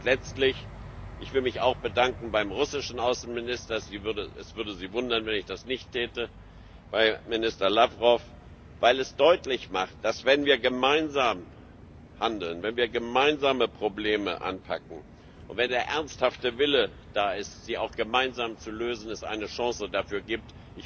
Und letztlich will ich mich auch bedanken beim russischen Außenminister es würde Sie wundern, wenn ich das nicht täte bei Minister Lawrow, weil es deutlich macht, dass, wenn wir gemeinsam handeln, wenn wir gemeinsam Probleme anpacken und wenn der ernsthafte Wille da ist, sie auch gemeinsam zu lösen, es eine Chance dafür gibt.